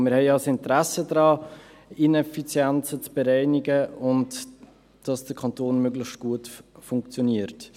Denn wir haben ja ein Interesse daran, Ineffizienzen zu bereinigen und dass der Kanton möglichst gut funktioniert.